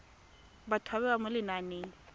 batho ba bewa mo lenaneng